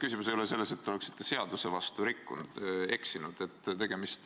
Asi ei ole selles, et te oleksite seaduse vastu eksinud.